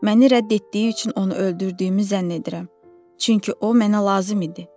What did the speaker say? Məni rədd etdiyi üçün onu öldürdüyümü zənn edirəm, çünki o mənə lazım idi.